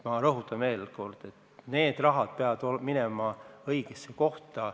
Ma rõhutan veel kord, et need rahad peavad minema õigesse kohta.